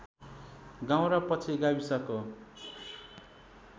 गाउँ र पछि गाविसको